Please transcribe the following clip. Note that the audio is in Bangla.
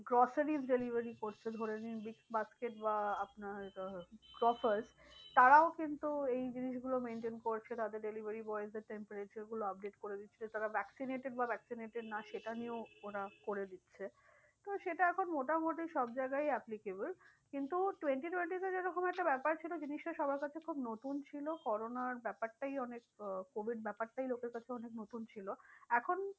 তো সেটা এখন মোটামুটি সব জায়গায়ই applicable কিন্তু twenty twenty তে যেরকম একটা ব্যাপার ছিল জিনিসটা সবার কাছে খুব নতুন ছিল করোনার ব্যাপারটাই অনেক আহ covid ব্যাপারটাই লোকের কাছে অনেক নতুন ছিল। এখন